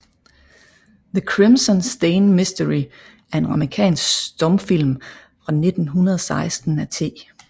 The Crimson Stain Mystery er en amerikansk stumfilm fra 1916 af T